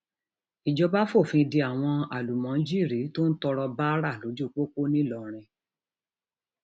ìjọba fòfin de àwọn um àlùmọjírì tó ń tọrọ báárà lójú pópó ńlọrọrìn um